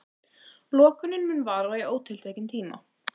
Lokunin mun vara í ótiltekinn tíma